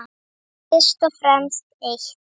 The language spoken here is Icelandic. Fyrst og fremst eitt.